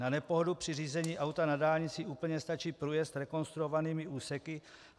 Na nepohodu při řízení auta na dálnici úplně stačí průjezd rekonstruovanými úseky.